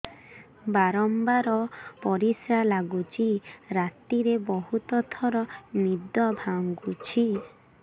ବାରମ୍ବାର ପରିଶ୍ରା ଲାଗୁଚି ରାତିରେ ବହୁତ ଥର ନିଦ ଭାଙ୍ଗୁଛି